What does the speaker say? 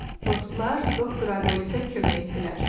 Dostlar, Doktor Aybolitə kömək etdilər.